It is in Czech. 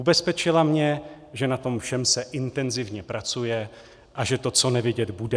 Ubezpečila mě, že na tom všem se intenzivně pracuje, a že to co nevidět bude.